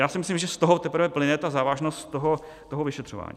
Já si myslím, že z toho teprve plyne ta závažnost toho vyšetřování.